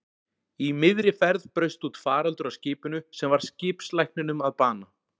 Í miðri ferð braust út faraldur á skipinu sem varð skipslækninum að bana.